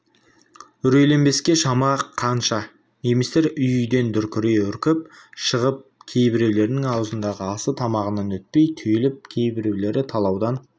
үрейленбеске шама қанша немістер үй-үйден дүркірей үркіп шығып кейбіреулерінің аузындағы асы тамағынан өтпей түйіліп кейбіреулері талаудан